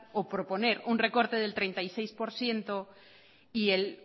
o proponer un recorte del treinta y seis por ciento y el